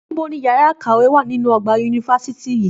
Níbo ni yàrá ìkàwé wà nínú ọgbà yunifásítì yìí